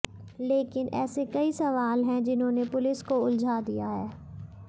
लेकिन ऐसे कई सवाल हैं जिन्होंने पुलिस को उलझा दिया है